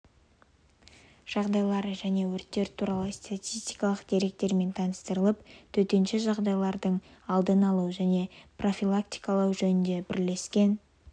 жағдайлар және өрттер туралы статистикалық деректермен таныстырылып төтенше жағдайлардың алдын алу және профилактикалау жөніндегі бірлескен